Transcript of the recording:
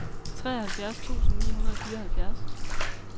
treoghalvfjerds tusind ni hundrede og fireoghalvfjerds